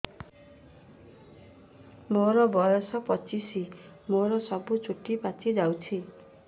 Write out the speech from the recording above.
ମୋର ବୟସ ପଚିଶି ମୋର ସବୁ ଚୁଟି ପାଚି ଯାଇଛି